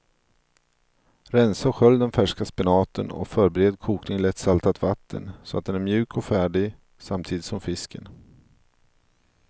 Rensa och skölj den färska spenaten och förbered kokning i lätt saltat vatten så att den är mjuk och färdig samtidigt som fisken.